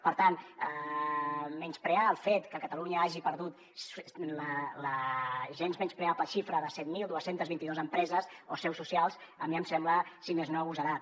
per tant menysprear el fet que catalunya hagi perdut la gens menyspreable xifra de set mil dos cents i vint dos empreses o seus socials a mi em sembla si més no agosarat